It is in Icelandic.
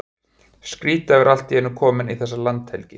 Skrýtið að vera allt í einu kominn í þessa landhelgi!